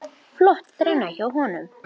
Flott þrenna hjá honum.